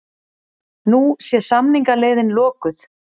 Nú sé samningaleiðin lokuð